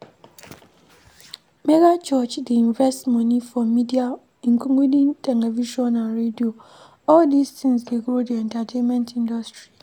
Megachurches dey invest money for media including television and radio, all these things dey grow di entertainment industry